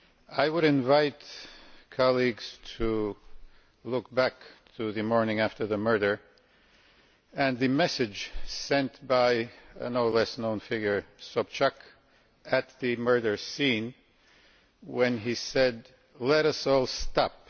I would invite colleagues to look back to the morning after the murder and the message sent by a no less well-known figure, Sobchak, at the murder scene when she said let us all stop'.